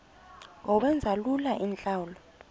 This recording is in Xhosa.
ngokwenza lula iintlawulo